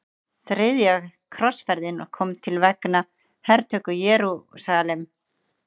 Þriðja krossferðin kom til vegna hertöku Jerúsalem.